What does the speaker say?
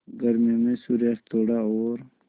गर्मियों में सूर्यास्त थोड़ा और